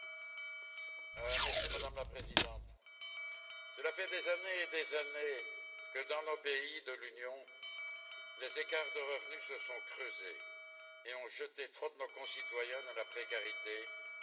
Madame la Présidente, cela fait des années que dans les pays de l'Union, les écarts de revenus se sont creusés et ont jeté trop de nos concitoyens dans la précarité, sinon même dans la pauvreté.